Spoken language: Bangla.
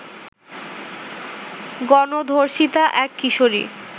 গণধর্ষিতা এক কিশোরী